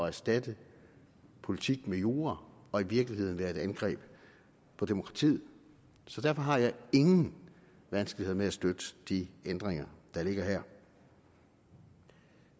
erstatte politik med jura og i virkeligheden være et angreb på demokratiet så derfor har jeg ingen vanskeligheder med at støtte de ændringer der ligger her